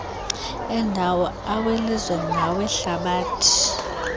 endawo awelizwe nawehlabathi